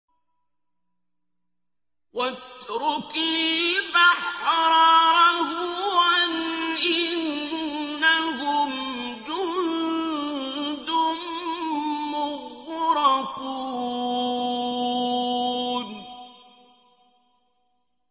وَاتْرُكِ الْبَحْرَ رَهْوًا ۖ إِنَّهُمْ جُندٌ مُّغْرَقُونَ